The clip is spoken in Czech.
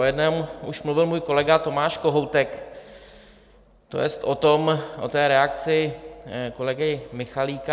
O jednom už mluvil můj kolega Tomáš Kohoutek, to jest o té reakci kolegy Michalíka .